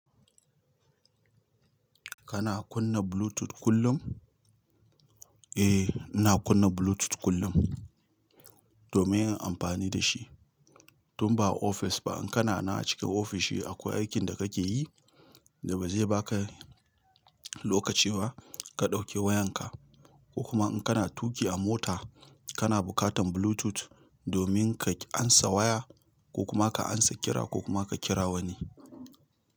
Kana kunna Bluetooth kullum? Eh, ina kunna Bluetooth kullum domin yin amfani da shi. Tun ba a ofis ba, in kana na cike ofishi akwai aikin da kake yi da ba zai baka lokaci ba ka ɗauke wayanka ko kuma in kana tuƙi a mota kana bukatan Bluetooth domin ka ansa waya ko kuma ka ansa kira ko kuma ka kira wani.